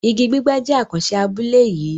Ìgí gbígbẹ́ jẹ̀ àkànṣé abúlé yìí